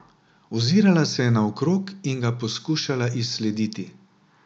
Ozirala se je naokrog in ga poskušala izslediti.